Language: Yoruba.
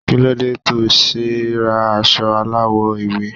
Kílódé to se ra aso aláwo ewe?